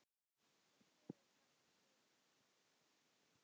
Liðið er þannig skipað